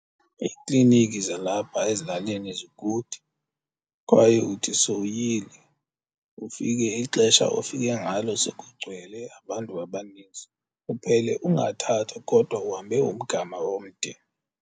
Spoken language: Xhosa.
Iikliniki zalapha ezilalini zikude kwaye uthi sowuyile ufike ixesha ofike ngalo sekugcwele abantu abaninzi uphele ungathathwa kodwa uhambe umgama omde.